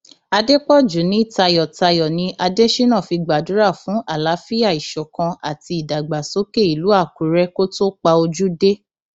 àdèpọjù ní tayọtayọ ni adésínà fi gbàdúrà fún àlàáfíà ìṣọkan àti ìdàgbàsókè ìlú àkùrẹ kó tóó pa ojú dé